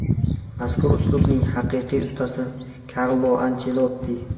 Mazkur uslubning haqiqiy ustasi Karlo Anchelotti.